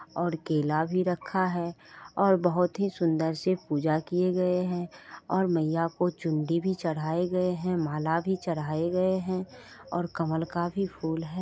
और केला भी रखा है और बहोत ही सुंदर से पूजा किए गए है और मैया को चुनरी भी चढ़ाए गए है माला भी चढाए गए है और कमल का भी फूल है